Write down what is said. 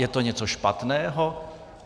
Je to něco špatného?